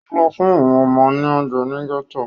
Ó lọ fún àwọn ọmọ ní oúnje ní gẹ́tò